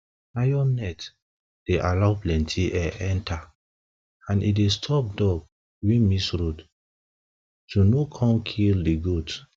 iron net dey allow plenty air enter and e dey stop dog wey miss road to no come kill di goat